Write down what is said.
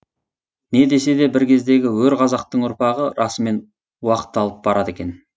не десе де бір кездегі өр қазақтың ұрпағы расымен уақталып барады екен